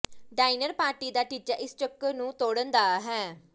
diner party ਦਾ ਟੀਚਾ ਇਸ ਚੱਕਰ ਨੂੰ ਤੋੜਨ ਦਾ ਹੈ